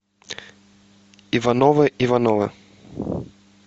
ивановы ивановы